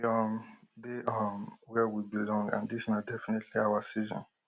we um dey um wia we belong and dis na definitely our season